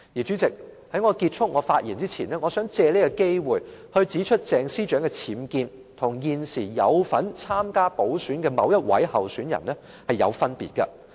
主席，在我結束我的發言前，我想藉此機會指出鄭司長的僭建與現時有份參加補選的某位候選人是有分別的。